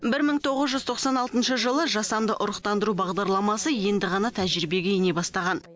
бір мың тоғыз жүз тоқсан алтыншы жылы жасанды ұрықтандыру бағдарламасы енді ғана тәжірибеге ене бастаған